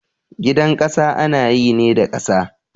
Gidan ƙasa ana yi ne da ƙasa